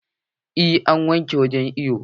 Eh, an wanke wurin iwon